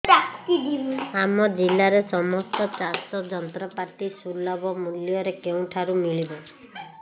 ଆମ ଜିଲ୍ଲାରେ ସମସ୍ତ ଚାଷ ଯନ୍ତ୍ରପାତି ସୁଲଭ ମୁଲ୍ଯରେ କେଉଁଠାରୁ ମିଳିବ